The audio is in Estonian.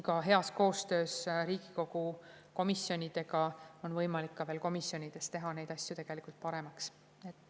Ka heas koostöös Riigikogu komisjonidega on tegelikult võimalik teha neid asju paremaks.